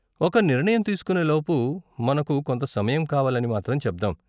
ఒక నిర్ణయం తీస్కునే లోపు మనకు కొంత సమయం కావాలని మాత్రం చెబ్దాం.